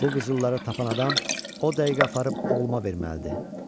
Bu qızılları tapan adam o dəqiqə aparıb oğluma verməlidir.